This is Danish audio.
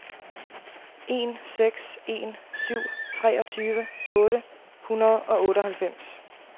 en seks en syv treogtyve otte hundrede og otteoghalvfems